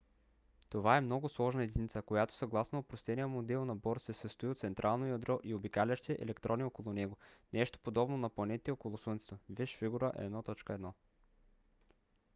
това е много сложна единица която съгласно опростения модел на бор се състои от централно ядро и обикалящи електрони около него нещо подобно на планетите около слънцето - вж. фиг. 1.1